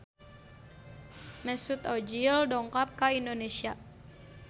Mesut Ozil dongkap ka Indonesia